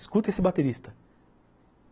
Escuta esse baterista.